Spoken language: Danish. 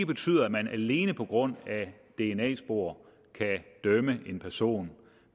betyder at man alene på grund af dna spor kan dømme en person